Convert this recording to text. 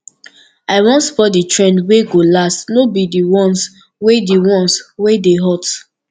i wan spot di trend wey go last no be di ones wey di ones wey dey hot